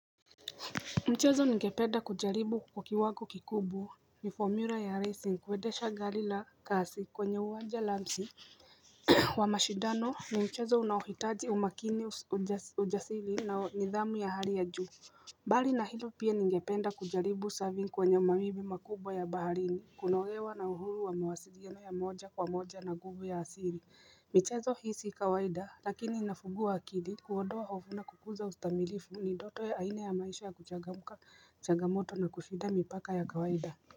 Mchezo ningependa kujaribu kwa kiwango kikubu ni formula ya racing kwedesha gali la kasi kwenye uwanja lamsi wa mashidano ni mchezo unahitaji umakini ujasili na nidhamu ya hali ya juu Bali na hilo pia ningependa kujaribu saving kwenye mawibi makubwa ya baharini kunolewa na uhuru wa mawasiliyano ya moja kwa moja na nguvu ya asili michezo hii si kawaida lakini inafugua akili kuondowa hofu na kukuza ustamilifu ni doto ya aina ya maisha ya kuchagamka changamoto na kushinda mipaka ya kawaida.